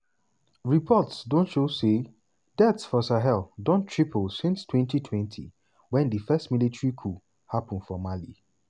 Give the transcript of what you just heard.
reports show say deaths for sahel don triple since 2020 wen di first military coup happun for mali.